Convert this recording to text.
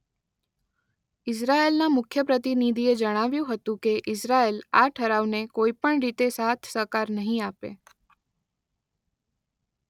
ઇઝરાયેલના મુખ્ય પ્રતિનિધિએ જણાવ્યું હતું કે ઇઝરાયેલ આ ઠરાવને કોઈ પણ રીતે સાથસહકાર નહીં આપે.